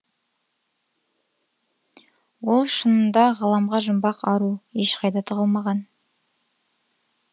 ол шынында ғаламға жұмбақ ару ешқайда тығылмаған